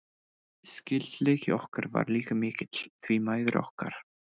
Skyldleiki okkar var líka mikill, því mæður okkar